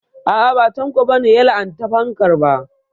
A'a ba Tanko ba ne ya la'anta fankar ba